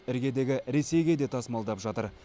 іргедегі ресейге де тасымалдап жатыр